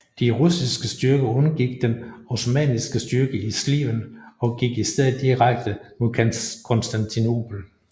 De russiske styrker undgik den osmanniske styrke i Sliven og gik i stedet direkte mod Konstantinopel